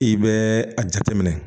I bɛ a jateminɛ